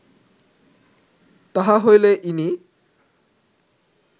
তাহা হইলে ইনি